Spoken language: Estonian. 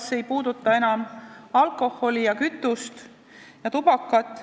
See ei puuduta enam ainult alkoholi, kütust ja tubakat.